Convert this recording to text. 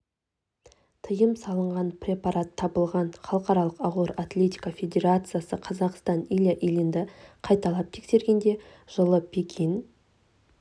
тиым салынған препарат табылған халықаралық ауыр атлетика федерациясы қазақстандық илья ильинді қайталап тескергенде жылы пекин